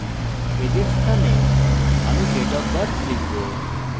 এখন age এর স্থানে আমি date of birth লিখব